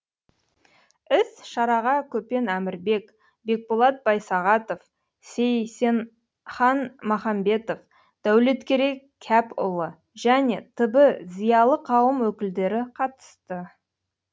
іс шараға көпен әмірбек бекболат байсағатов сейсенхан махамбетов дәулеткерей кәпұлы және т б зиялы қауым өкілдері қатысты